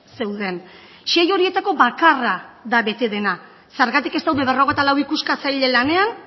zeuden sei horietako bakarra da bete dena zergatik ez daude berrogeita lau ikuskatzaile lanean